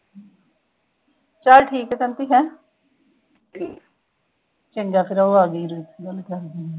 ਚੰਗਾ ਫਿਰ ਉਹ ਆਗੀ ਮੇਰੀ, ਫਿਰ ਕਰਦੀ ਆਂ।